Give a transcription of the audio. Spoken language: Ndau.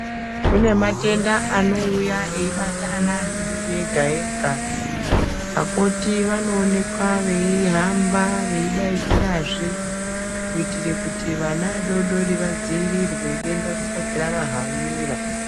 Kune matenda anouya eibata ana vadodori vega vega vakoti vanooneka vehamba vedaidzirazve kuitira kuti vana vadodori vadzivirirwe denda risati ravahanira.